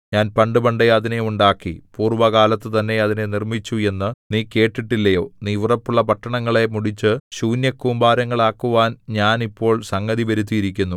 ഞാൻ പണ്ടുപണ്ടേ അതിനെ ഉണ്ടാക്കി പൂർവ്വകാലത്തുതന്നെ അതിനെ നിർമ്മിച്ചു എന്നു നീ കേട്ടിട്ടില്ലയോ നീ ഉറപ്പുള്ള പട്ടണങ്ങളെ മുടിച്ചു ശൂന്യകൂമ്പാരങ്ങളാക്കുവാൻ ഞാൻ ഇപ്പോൾ സംഗതി വരുത്തിയിരിക്കുന്നു